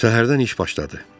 Səhərdən iş başladı.